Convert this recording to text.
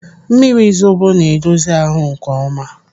Mmiri zobo na-edozi ahụ nkeọma.